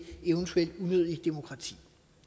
eventuelt unødigt bureaukrati